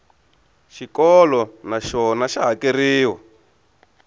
xikolo na xona xa hakeriwa